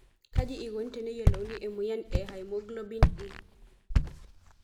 Kaji eikoni teneyiolouni emoyiana e hemoglobin E?